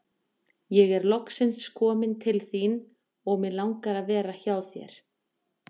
Ég er loksins kominn til þín og mig langar að vera hjá þér.